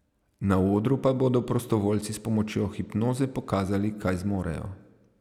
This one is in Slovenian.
Na odru pa bodo prostovoljci s pomočjo hipnoze pokazali, kaj zmorejo.